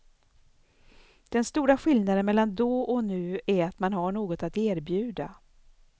Den stora skillnaden mellan då och nu är att man har något att erbjuda.